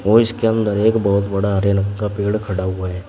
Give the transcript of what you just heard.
और इसके अंदर एक बहुत बड़ा रेलम का पेड़ खड़ा हुआ है।